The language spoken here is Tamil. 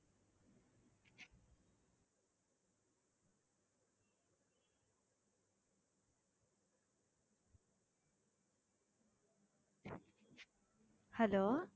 hello